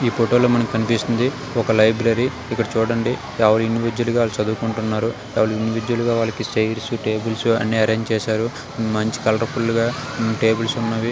ఈ ఫోటో లో మనకి కనిపిస్తుంది. ఒక లైబ్రరీ ఇక్కడ చూడండి ఎవరి ఇండివిజువల్ గా వాళ్ళు చదువుకుంటున్నారు ఎవరి ఇండివిజువల్ వాళ్లకి చేర్స్ టేబుల్స్ అరేంజ్ చేశారు మంచి కలర్ఫుల్ గా టేబుల్స్ ఉన్నాయి.